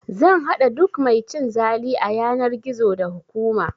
Zan haɗa duk mai cin zali a yanar gizo, da hukuma!